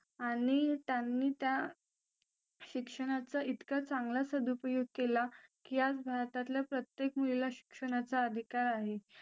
आणि त्यांनी त्या शिक्षणाचा इतका चांगला सदुपयोग केला की आज भारतातल्या प्रत्येक मुलीला शिक्षणाचा अधिकार आहे